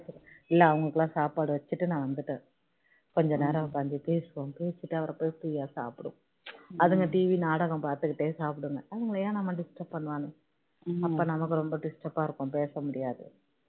இல்ல அவங்களுக்குலாம் சாப்பாடு வச்சிட்டு நான் வந்துட்டேன் கொஞ்சம் நேரம் உட்கார்ந்து பேசுவோம் பேசிட்டு அப்பறோம் பொறுமையா சாப்பிடுவோம் அதுங்க TV நாடகம் பார்த்துட்டே சாப்பிடுங்க நம்ம disturb பண்ண வேணாம் அப்போதான் நமக்கு ரொம்ப disturb டா இருக்கோம் பேச முடியாது